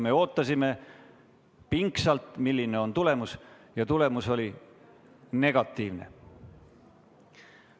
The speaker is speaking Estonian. Me ootasime pingsalt, milline on tulemus, ja tulemus oli negatiivne.